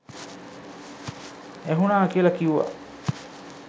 ඇහුනා කියල කිව්වා.